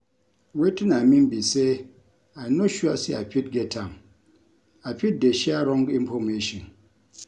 Wetin I mean be say I no sure say I fit get am; I fit dey share wrong information